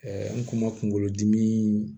an kuma kunkolodimi